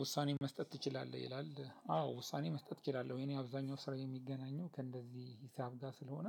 ውሳኔ መስጠት ትችላለህ ይላል አዎ ውሳኔ መስጠት እችላለሁ የኔ አብዛኛው ስራ የሚገናኘው ከእንደዚህ ሂሳብ ጋር ስለሆነ